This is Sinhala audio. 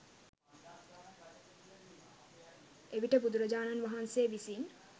එවිට බුදුරජාණන් වහන්සේ විසින්